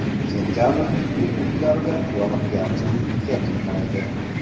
Sentabrning ilk kunlarida yog‘ingarchilik kuzatilmaydi.